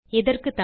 பார்த்தமைக்கு நன்றி